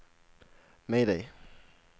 mayday